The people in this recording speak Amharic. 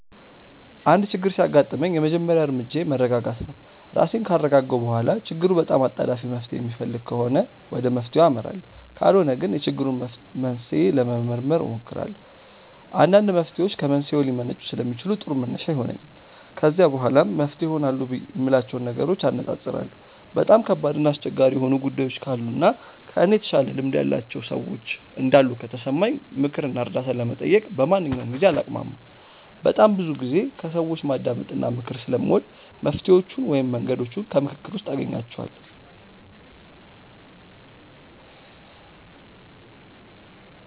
አንድ ችግር ሲያጋጥመኝ የመጀመሪያ እርምጃዬ መረጋጋት ነው። ራሴን ካረጋጋሁ በኋላ ችግሩ በጣም አጣዳፊ መፍትሔ የሚፈልግ ከሆነ ወደ መፍትሔው አመራለሁ ካልሆነ ግን የችግሩን መንስኤ ለመመርመር እሞክራለሁ። አንዳንድ መፍትሔዎች ከመንስኤው ሊመነጩ ስለሚችሉ ጥሩ መነሻ ይሆነኛል። ከዛ በኋላ መፍትሄ ይሆናሉ የምላቸውን ነገሮች አነፃፅራለሁ። በጣም ከባድ እና አስቸጋሪ የሆኑ ጉዳዮች ካሉ እና ከእኔ የተሻለ ልምድ ያላቸው ሰዎች እንዳሉ ከተሰማኝ ምክር እና እርዳታ ለመጠየቅ በማንኛውም ጊዜ አላቅማማም። በጣም ብዙ ጊዜ ከሰዎች ማዳመጥ እና ምክር ስለምወድ መፍትሔዎቹን ወይም መንገዶቹን ከምክክር ውስጥ አገኛቸዋለሁ።